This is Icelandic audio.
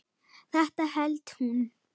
Þetta hélt hún.